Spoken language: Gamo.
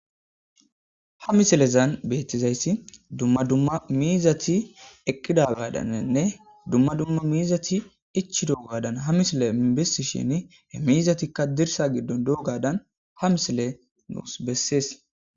ha misilezan beettizayssi dumma dumma miizati eqqida gadanenne dumma dumma miizati ichi doogadan ha misile mibessi shin he miizatikka dirsa giddon doogadan ha misile nuus bessees